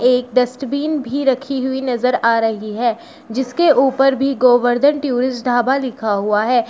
एक डस्टबिन भी रखी हुई नजर आ रही है जिसके ऊपर भी गोवर्धन टूरिस्ट ढाबा लिखा हुआ है।